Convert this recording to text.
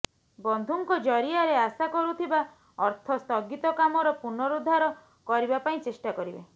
ବନ୍ଧୁଙ୍କ ଜରିଆରେ ଆଶା କରୁଥିବା ଅର୍ଥ ସ୍ଥଗିତ କାମର ପୁନରୁଦ୍ଧାର କରିବା ପାଇଁ ଚେଷ୍ଟା କରିବେ